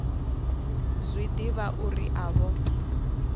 zwi ḓivha uri a vho